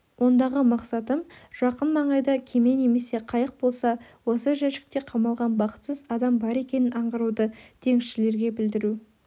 ондағы мақсатым жақын маңайда кеме немесе қайық болса осы жәшікте қамалған бақытсыз адам бар екенін аңғаруды теңізшілерге білдіру